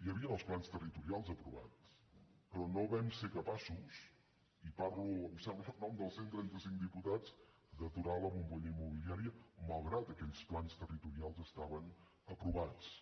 hi havien els plans territorials aprovats però no vam ser capaços i parlo em sembla en nom dels cent trentacinc diputats d’aturar la bombolla immobiliària malgrat que aquells plans territorials estaven aprovats